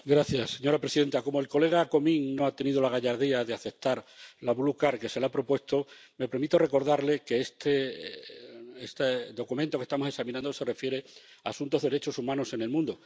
Señora presidenta, como el colega Comín no ha tenido la gallardía de aceptar la que se le ha propuesto, me permito recordarle que este documento que estamos examinando se refiere a asuntos de derechos humanos en el mundo.